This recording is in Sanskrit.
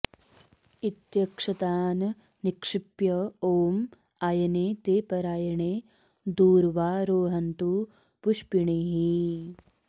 इत्यक्षतान् निक्षिप्य ॐ आय॑ने ते प॒राय॑णे दूर्वा॑ रोहन्तु पुष्पिणीः॑